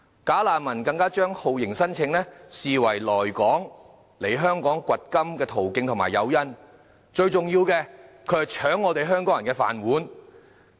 "假難民"更將酷刑聲請視為來港"掘金"的途徑及誘因，最重要的是，他們搶香港人"飯碗"。